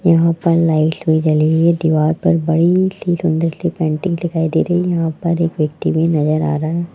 यहाँ पर लाइट भी जली हुई है दिवाल पर बड़ी सी सुंदर सी पेंटिंग भी दिखाई दे रही यहाँ पर एक व्यक्ति भी नज़र आ रहा है।